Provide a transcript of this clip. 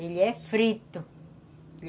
Ele é frito.